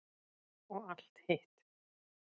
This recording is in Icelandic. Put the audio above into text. Og allt hitt.